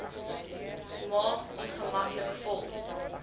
maag ongemaklik vol